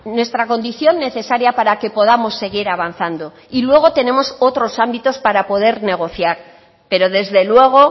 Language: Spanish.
nuestra condición necesaria para que podamos seguir avanzando y luego tenemos otros ámbitos para poder negociar pero desde luego